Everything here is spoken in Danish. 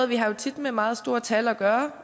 vi har jo tit med meget store tal at gøre